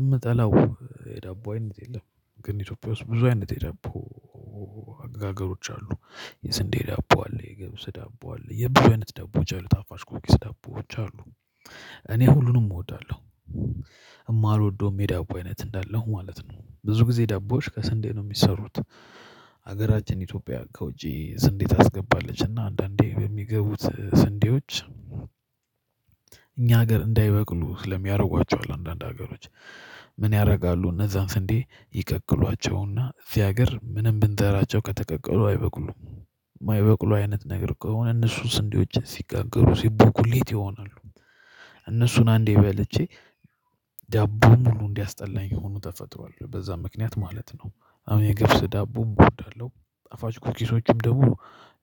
እምጠላው የዳቦ አይነት የለም። ግን ኢትዮጵያ ውስጥ ብዙ አይነት የዳቦ አገጋገሮች አሉ። የስንዴ ዳቦ አለ ገብስ ዳቦ አለ የብዙ አይነት ዳቦዎች አሉ ታፋች ኩኪስ ዳቦዎች አሉ። እኔ ሁሉንም እወዳለው የማልወደውም የዳቦ አይነት እንዳለሁ ማለት ነው። ብዙ ጊዜ ዳቦዎች ከስንዴ ነው የሚሰሩት። ሀገራችን ኢትዮጵያ ከውጪ ስንዴ ታስገባለች እና አንዳንዴ በሚገቡት ስንዴዎች እኛ ሀገር እንዳይበቅሉ ስለሚያረጓቸው አለ አንዳንድ ሀገሮች ምን ያረጋሉ እነዛን ስንዴ ይቅቅሏቸውና እዚህ ሀገር ምንም ብንዘራቸው ከተቀቀሉ አይበቅሉም። ማይበቅሉ አይነት ነገር ከሆነ እነሱን ስንዴዎች ሲጋገሩ ሲበኩሌት ይሆናሉ። እነሱን አንዴ በልቼ ዳቦ ሙሉ እንዲያስጠላኝ ሆኖ ተፈጥሯል በዛ ምክንያት ማለት ነው። አሁን የገብስ ዳቦ እወዳለው ጣፋች ኩኪሶችን ደግሞ